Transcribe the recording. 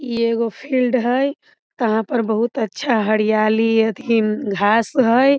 इ एगो फिल्ड हई यहाँ पर बहुत अच्छा हरियाली एथिन घास हई।